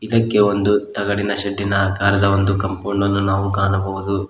ಇದಕ್ಕೆ ಒಂದು ತಗಡಿನ ಶೆಡ್ಡಿನ ಅಕಾರದ ಒಂದು ಕಂಪೌಂಡನ್ನು ನಾವು ಕಾಣಬಹುದು.